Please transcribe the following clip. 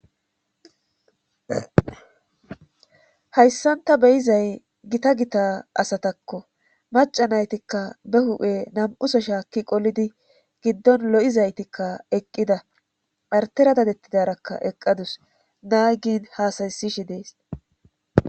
hayssan ta beyizay gita gita asatakko maca naytikka be hu7e nam7uso shaakki qolidi giddon lo7izaytikka eqqida partera dadettidarakka eqqadus naaygin haasaysishi dees